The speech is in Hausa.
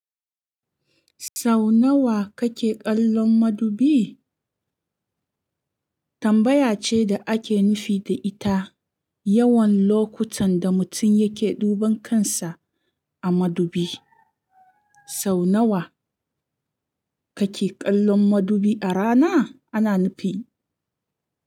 Sau nawa kake kallon madubi? Tambaya ce da ake nufi da ita yawan lokutan da mutum yake duban kansa a madubi. Sau nawa kake kallon madubi a rana? Ana nufin.